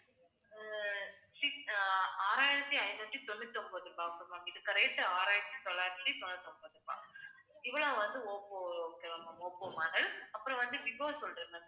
ஆஹ் six ஆஹ் ஆறாயிரத்தி ஐந்நூத்தி தொண்ணூத்தி ஒன்பது ரூபாய் ma'am இதுக்கு rate ஆறாயிரத்தி தொள்ளாயிரத்து தொண்ணூத்தி ஒன்பது ரூபாய் இவ்ளோ வந்து ஓப்போ okay வா ma'am ஓப்போ model அப்புறம் வந்து விவோ சொல்றேன்